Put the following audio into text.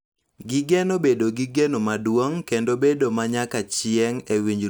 Gigeno bedo gi geno maduong� kendo bedo ma nyaka chieng� e winjruokgi giwegi.